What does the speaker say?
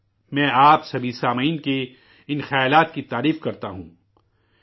میں آپ سبھی سامعین کی ان آراء کو خراج تحسین پیش کرتا ہوں،